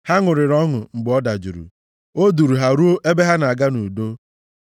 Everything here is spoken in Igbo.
Ha ṅụrịrị ọṅụ mgbe ọ dajụrụ, o duuru ha ruo ebe ha na-aga nʼudo.